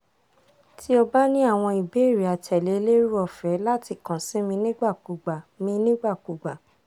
ti o ba ni awọn ibeere atẹle lero ọfẹ lati kan si mi nigbakugba mi nigbakugba